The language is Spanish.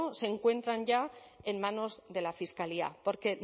se encuentran ya en manos de la fiscalía porque